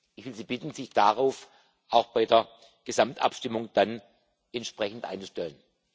Ich will Sie bitten, sich darauf auch bei der Gesamtabstimmung dann entsprechend einzustellen.